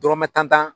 Dɔrɔmɛ tan